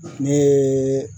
Ne ye